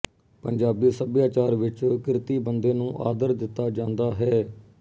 ਪੰਜਾਬੀ ਸੱਭਿਆਚਾਰ ਵਿੱਚ ਕਿਰਤੀ ਬੰਦੇ ਨੂੰ ਆਦਰ ਦਿੱਤਾ ਜਾਂਦਾ ਹੈ